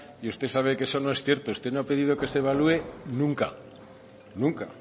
y usted sabe que eso no es cierto usted no ha pedido que se evalúe nunca nunca